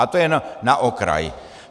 Ale to jen na okraj.